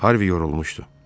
Harvi yorulmuşdu.